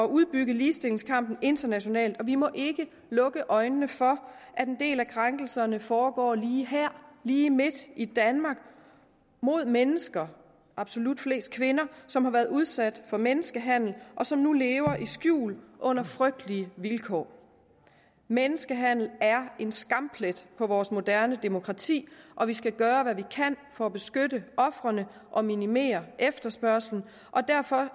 udbygge ligestillingskampen internationalt vi må ikke lukke øjnene for at en del af krænkelserne foregår lige her lige midt i danmark mod mennesker absolut flest kvinder som har været udsat for menneskehandel og som nu lever i skjul under frygtelige vilkår menneskehandel er en skamplet på vores moderne demokrati og vi skal gøre hvad vi kan for at beskytte ofrene og minimere efterspørgslen derfor